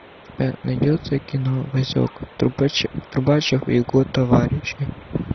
у тебя найдется кино васек трубачев и его товарищи